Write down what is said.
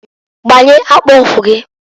Gbanye akpụkwụ gịǃ